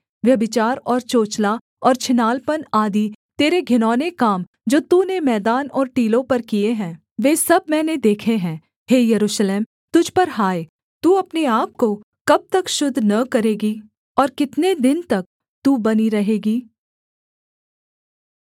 व्यभिचार और चोचला और छिनालपन आदि तेरे घिनौने काम जो तूने मैदान और टीलों पर किए हैं वे सब मैंने देखे हैं हे यरूशलेम तुझ पर हाय तू अपने आपको कब तक शुद्ध न करेगी और कितने दिन तक तू बनी रहेगी